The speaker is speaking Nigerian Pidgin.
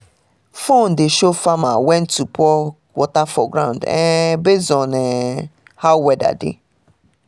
phone dey show farmer when to pour water for ground um based on um how weather dey